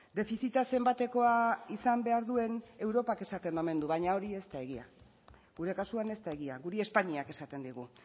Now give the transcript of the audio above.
defizita zenbatekoa izan behar duen europak esaten omen du baina hori ez da egia gure kasuan ez da egia guri espainiak esaten digu